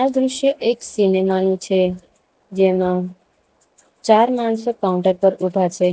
દ્રશ્ય એક સિનેમા નું છે જેમાં ચાર માણસો કાઉન્ટર પર ઉભા છે.